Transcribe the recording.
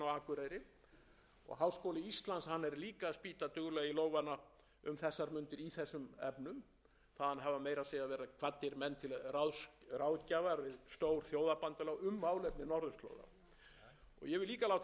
að spýta duglega í lófana um þessar mundir í þessum efnum þaðan hafa meira að segja verið kvaddir menn til ráðgjafar við stór þjóðabandalög um málefni norðurslóða ég vil líka láta þess getið að í ýmsum öðrum stofnunum